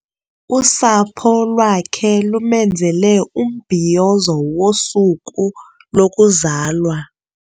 Usapho lwakhe lumenzele umbhiyozo wosuku lokuzalwa.